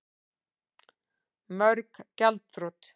Mörg gjaldþrot